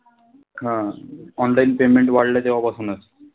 हा online payment वाढलं तेंव्हापासूनच.